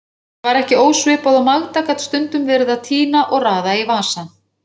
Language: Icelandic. Þetta var ekki ósvipað og Magda gat stundum verið að tína og raða í vasa.